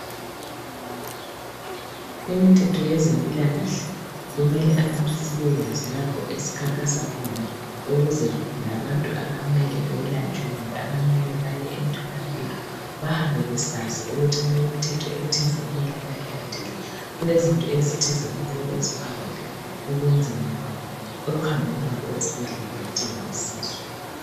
Imithetho yezempilakahle kumele abantu sibeyazi lapho esikhankasa khona ukuze labantu abamele beyelatshwe kumbe abamele bayemtholampilo bahambe besazi ukuthi kulemithetho ethize okumele bayilandele. Kulezinto ezithize okumele beziphawule ekwenzeni kwabo, ekuhambeni kwabo esibhedlela bedinga usizo.